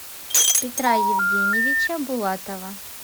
петра евгеньевича булатова